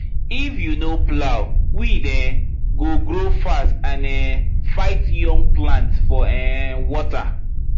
if you no plow weed um go grow fast and um fight young plant for um water